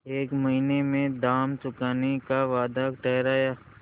एक महीने में दाम चुकाने का वादा ठहरा